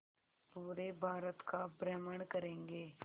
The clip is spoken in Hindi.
पूरे भारत का भ्रमण करेंगे